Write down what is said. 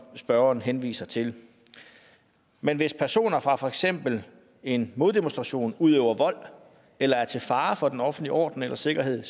spørgeren henviser til men hvis personer fra for eksempel en moddemonstration udøver vold eller er til fare for den offentlige orden eller sikkerhed